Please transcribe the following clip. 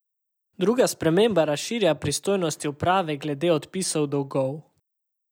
Druga sprememba razširja pristojnosti uprave glede odpisov dolgov.